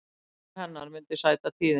Brotthvarf hennar myndi því sæta tíðindum